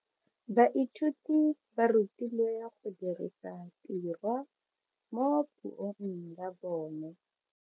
Baithuti ba rutilwe go dirisa tirwa mo puong ya bone.